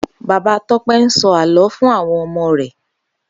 Baba Tope n sò àlõ fún áwòn òmò rè